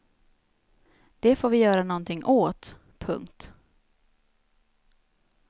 Det får vi göra nånting åt. punkt